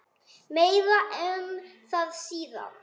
Meira um það síðar.